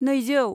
नैजौ